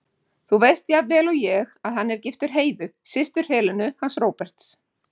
Þú veist jafnvel og ég að hann er giftur Heiðu, systur Helenu hans Róberts.